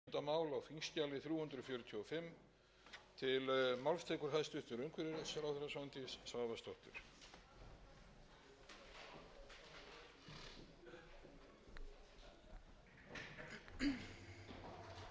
hæstvirtur forseti ég mæli fyrir frumvarpi til laga um umhverfisábyrgð frumvarpið felur í sér innleiðingu á tilskipun tvö þúsund og fjögur þrjátíu og